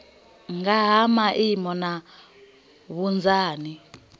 nga ha maimo na vhunzani